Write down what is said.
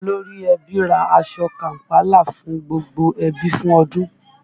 Olórí ẹbí ra aṣọ Kàm̀pálà fún gbogbo ẹbí fún odun